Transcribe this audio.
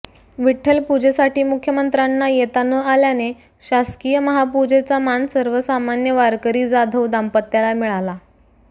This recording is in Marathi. विठ्ठलपूजेसाठी मुख्यमंत्र्यांना येता न आल्याने शासकीय महापूजेचा मान सर्वसामान्य वारकरी जाधव दांपत्याला मिळाला